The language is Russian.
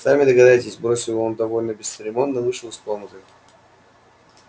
сами догадайтесь бросил он и довольно бесцеремонно вышел из комнаты